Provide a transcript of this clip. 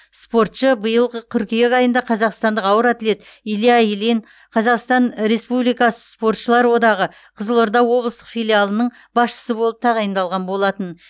спортшы биылғы қыркүйек айында қазақстандық ауыр атлет илья ильин қазақстан республикасы спортшылар одағы қызылорда облыстық филиалының басшысы болып тағайындалған болатын